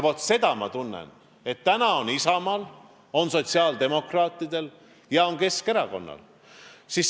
Ma tunnen, et täna on seda soovi Isamaal, on sotsiaaldemokraatidel ja on Keskerakonnal.